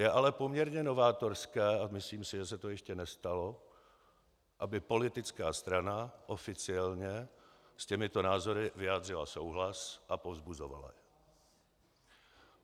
Je ale poměrně novátorské a myslím si, že se to ještě nestalo, aby politická strana oficiálně s těmito názory vyjádřila souhlas a povzbuzovala je.